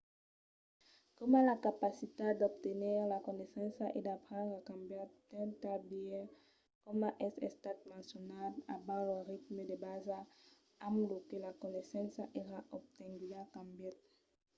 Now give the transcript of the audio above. coma la capacitat d'obtenir la coneissença e d’aprendre a cambiat d’un tal biais coma es estat mencionat abans lo ritme de basa amb lo que la coneissença èra obtenguda cambièt